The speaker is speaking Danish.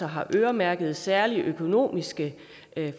har øremærket særlige økonomiske